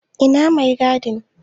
Ina mai gadin?